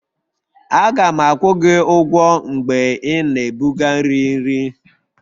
Aga m akwụ gị ụgwọ mgbe ị na-ebuga nri nri